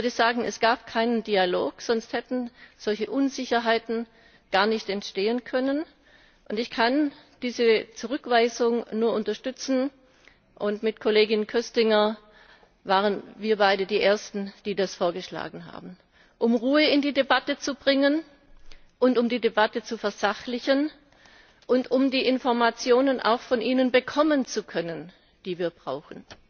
Ich würde sagen, es gab keinen Dialog, sonst hätten solche Unsicherheiten gar nicht entstehen können. Ich kann diese Zurückweisung nur unterstützen mit Kollegin Köstinger waren wir beide die ersten, die das vorgeschlagen haben um Ruhe in die Debatte zu bringen und um die Debatte zu versachlichen, und auch, um die Informationen von Ihnen bekommen zu können, die wir brauchen.